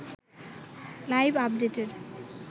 live আপডেটের